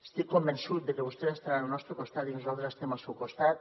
estic convençut de que vostès estaran al nostre costat i nosaltres estem al seu costat